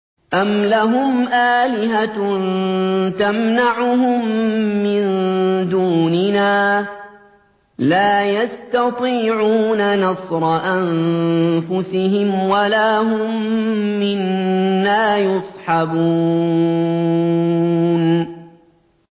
أَمْ لَهُمْ آلِهَةٌ تَمْنَعُهُم مِّن دُونِنَا ۚ لَا يَسْتَطِيعُونَ نَصْرَ أَنفُسِهِمْ وَلَا هُم مِّنَّا يُصْحَبُونَ